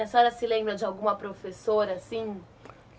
E a senhora se lembra de alguma professora assim?